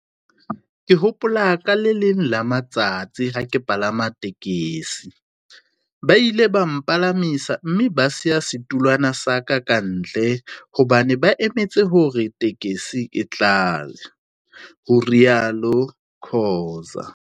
"Ke hopola ka le leng la matsatsi ha ke palama tekesi, ba ile ba mpalamisa mme ba siya setulwana sa ka kantle hobane ba emetse hore tekesi e tlale," ho ile ha rialo Khoza.